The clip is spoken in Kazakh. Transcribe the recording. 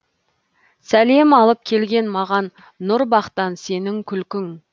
сәлем алып келген маған нұр бақтан сенің күлкің